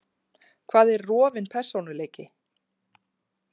Hvað er rofinn persónuleiki?